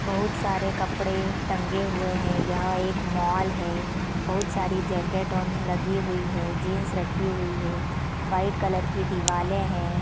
बहुत सारे कपड़े टंगे हुए हैं यह एक मॉल है बहुत सारी जैकेट ऑन लगी हुई है जींस रखी हुई है वाइट कलर की दिवाले है।